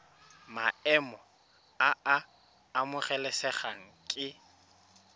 maemo a a amogelesegang ke